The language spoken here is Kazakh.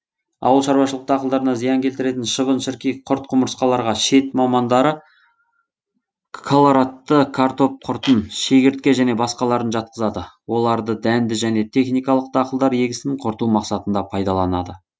ауыл шаруашылық дақылдарына зиян келтіретін шыбын шіркей құрт құмырсқаларға шет мамандары колорадты картоп құртын шегіртке және басқаларын жатқызады оларды дәнді және техникалық дақылдар егісін құрту мақсатында пайдаланады